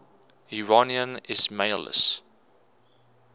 iranian ismailis